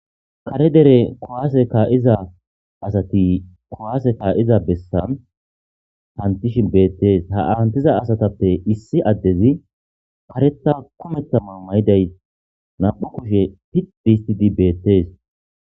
kare dere kuwase ka'iza asati kuwase ka'iza besan hantishin beettees ha hanitiza asatappe issi addezi kareta kumetha mayo mayiday nam'u kushe pid hisitid betees